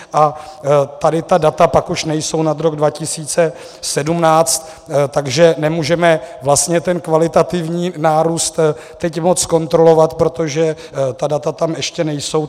A tady ta data pak už nejsou nad rok 2017, takže nemůžeme vlastně ten kvalitativní nárůst teď moc zkontrolovat, protože ta data tam ještě nejsou.